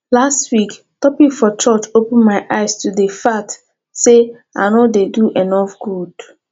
last week topic for church open my eyes to the fact say i no dey do enough good